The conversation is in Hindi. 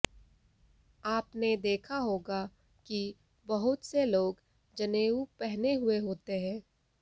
आपने देखा होगा कि बहुत से लोग जनेऊ पहने हुए होते हैं